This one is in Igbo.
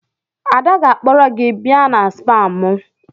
Ada ga-akpọrọ gị bịa na spaa m.